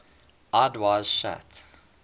eyes wide shut